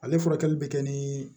Ale furakɛli bɛ kɛ ni